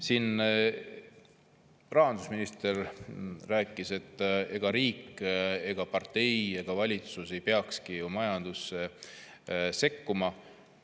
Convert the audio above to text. Siin rahandusminister rääkis, et riik ega partei ega valitsus ei peakski majandusse sekkuma.